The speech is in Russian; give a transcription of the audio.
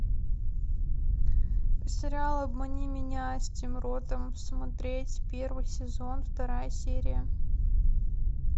сериал обмани меня с тим ротом смотреть первый сезон вторая серия